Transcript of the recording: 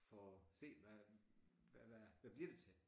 Få set hvad hvad hvad bliver det til